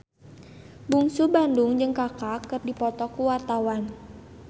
Bungsu Bandung jeung Kaka keur dipoto ku wartawan